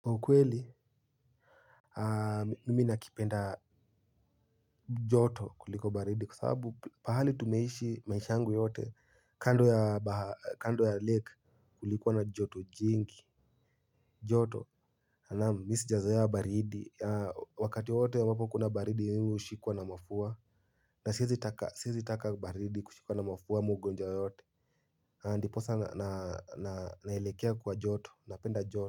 Ukweli mimi nakipenda joto kuliko baridi kwa sababu pahali tumeishi maishangu yote kando ya lake. Kulikuwa na joto jingi. Joto anamu misi jazoea baridi. Wakati wowote ambapo kuna baridi mimi ushikuwa na mafua. Na siiezitaka baridi kushikuwa na mafua ama ugonja yoyote. Ndiposa naelekea kwa joto napenda joto.